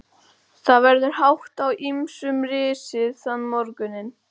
Það verður hátt á ýmsum risið þann morguninn.